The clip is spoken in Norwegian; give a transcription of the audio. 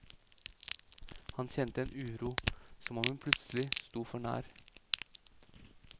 Han kjente en uro, som om hun plutselig sto for nær.